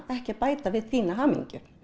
ekki að bæta við þína hamingju